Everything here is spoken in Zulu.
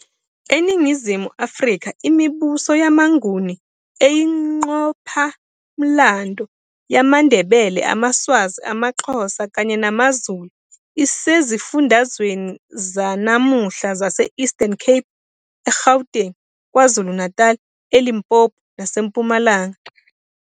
ENingizimu Afrika, imibuso yamaNguni eyingqophamlando yamaNdebele, amaSwazi, amaXhosa kanye namaZulu isezifundazweni zanamuhla zase- Eastern Cape, eGauteng, KwaZulu-Natal, eLimpopo naseMpumalanga.